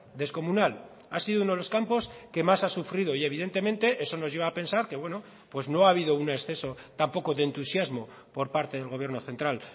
descomunal ha sido uno de los campos que más ha sufrido y evidentemente eso nos lleva a pensar que no ha habido un exceso tampoco de entusiasmo por parte del gobierno central